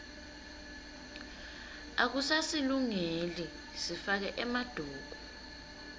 akusasilungeli sifake emaduku